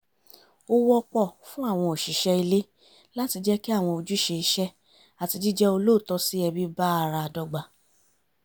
ó wọ́pọ̀ fún àwọn òṣìṣẹ́ ilé láti jẹ́ kí àwọn ojúṣe iṣẹ́ àti jíjẹ́ olóòótọ́ sí ẹbí bá ara dọ́gba